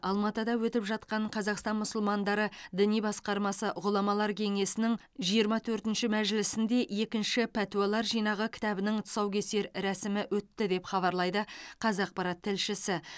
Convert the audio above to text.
алматыда өтіп жатқан қазақстан мұсылмандары діни басқармасы ғұламалар кеңесінің жиырма төртінші мәжілісінде екінші пәтуалар жинағы кітабының тұсаукесер рәсімі өтті деп хабарлайды қазақпарат тілшісі